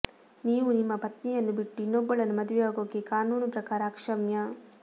ನೀವು ನಿಮ್ಮ ಪತ್ನಿಯನ್ನು ಬಿಟ್ಟು ಇನ್ನೊಬ್ಬಳನ್ನು ಮದುವೆಯಾಗೋಕೆ ಕಾನೂನು ಪ್ರಕಾರ ಅಕ್ಷ್ಯಮ್ಯ